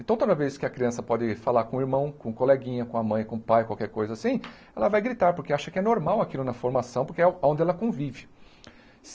Então, toda vez que a criança pode falar com o irmão, com o coleguinha, com a mãe, com o pai, qualquer coisa assim, ela vai gritar, porque acha que é normal aquilo na formação, porque é onde ela convive.